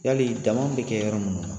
Yali danni bɛ kɛ yɔrɔ minnu